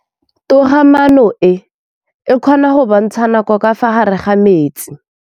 Toga-maanô e, e kgona go bontsha nakô ka fa gare ga metsi.